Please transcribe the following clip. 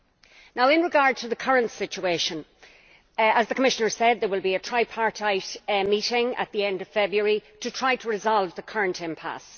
With regard to the current situation, as the Commissioner said, there will be a tripartite meeting at the end of February to try to resolve the current impasse.